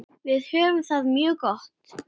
Við höfum það mjög gott.